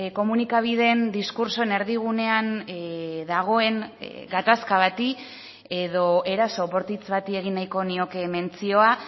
komunikabideen diskurtsoen erdigunean dagoen gatazka bati edo eraso bortitz bati egin nahiko nioke mentzioa